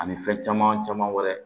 Ani fɛn caman caman wɛrɛ